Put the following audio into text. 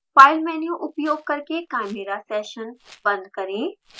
file menu उपयोग करके chimera session बंद करें